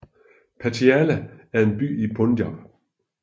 Patiala er en by i Punjab